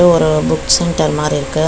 ஒரு book centre மாறி இருக்கு.